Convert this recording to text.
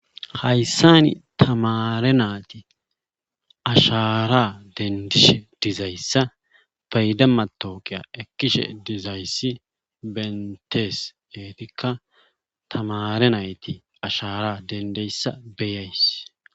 Hayssan tamaare naati ashaara denddishe dizayssa payda mattawuqiya ekkishe dizayssi benttees eetiikka tamaare nayti ashaara denddeyssa beyays.